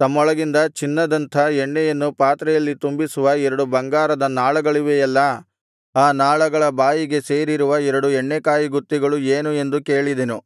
ತಮ್ಮೊಳಗಿಂದ ಚಿನ್ನದಂಥ ಎಣ್ಣೆಯನ್ನು ಪಾತ್ರೆಯಲ್ಲಿ ತುಂಬಿಸುವ ಎರಡು ಬಂಗಾರದ ನಾಳಗಳಿವೆಯಲ್ಲಾ ಆ ನಾಳಗಳ ಬಾಯಿಗೆ ಸೇರಿರುವ ಎರಡು ಎಣ್ಣೆಕಾಯಿಗುತ್ತಿಗಳು ಏನು ಎಂದು ಕೇಳಿದೆ